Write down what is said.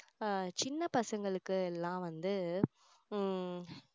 ஆஹ் சின்ன பசங்களுக்கு எல்லாம் வந்து உம்